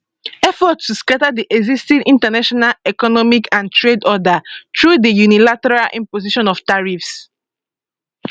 [effort to] scata di existing international economic and trade order through di unilateral imposition of tariffs